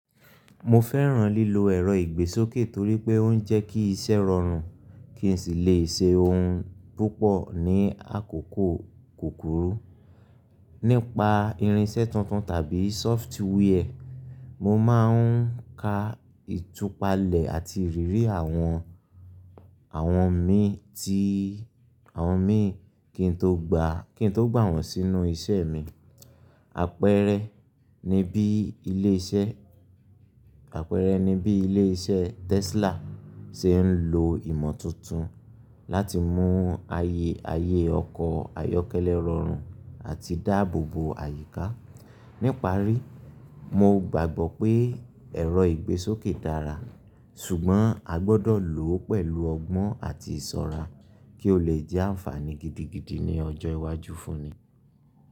Mo fẹ́ràn lílo ẹ̀rọ ìgbésókè torí pé ó ń jẹ́ kí iṣẹ́ rọrùn kí n sì lè ṣe ohun púpọ̀ ní àkókò kúkúrú. Nípa irinṣẹ́ tuntun tàbí software, mo máa ń ka ìtúpalẹ̀ àti ìrírí àwọn, àwọn mi tí, àwọn mi kí n tó gba, kí n tó gbà wọ́n sínú iṣẹ́ mi. Àpẹẹrẹ ni bí ilé iṣẹ́, àpẹẹrẹ ni bí ilé iṣẹ́ Tesla ṣe ń lo ìmọ̀ tuntun láti mú ayé, ayé ọkọ̀ ayọ́kẹ́lẹ́ rọrùn àti dáàbò bo àyíká. Níparí, mo gbàgbọ́ pé ẹ̀rọ ìgbésókè dára ṣùgbọ́n a gbọ́dọ̀ lò ó pẹ̀lú ọgbọ́n àti ìṣọ́ra kí ó lè jẹ́ ànfààní gidigidi ní ọjọ́ iwájú fún ni.